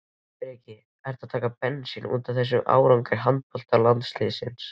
Breki: Ertu að taka bensín útaf þessum árangri handboltalandsliðsins?